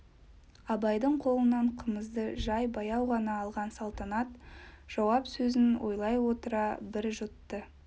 абайдың қолынан қымызды жай баяу ғана алған салтанат жауап сөзін ойлай отыра бір жұтты